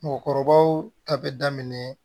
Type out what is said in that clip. Mɔgɔkɔrɔbaw ta bɛ daminɛ